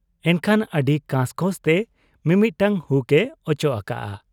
ᱮᱱᱠᱷᱟᱱ ᱟᱹᱰᱤ ᱠᱟᱸᱥ ᱠᱚᱸᱥ ᱛᱮ ᱢᱤᱢᱤᱫᱴᱟᱹᱝ ᱦᱩᱠ ᱮ ᱚᱪᱚᱜ ᱟᱠᱟᱜ ᱟ ᱾